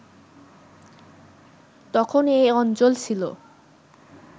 তখন এ অঞ্চল ছিল